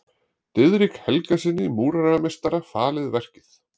Diðrik Helgasyni múrarameistara falið verkið.